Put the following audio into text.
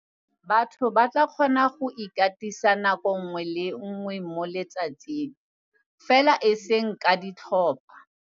Batho ba tla kgona go ikatisa nako nngwe le nngwe mo letsatsing, fela eseng ka ditlhopha.